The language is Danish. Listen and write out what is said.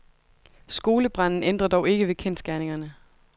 Skolebranden ændrer dog ikke ved kendsgerningerne.